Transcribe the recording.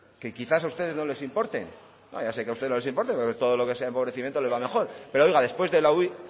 que quizás a ustedes no les importen ya sé que a ustedes no les importa porque todo lo que sea empobrecimiento le va mejor pero oiga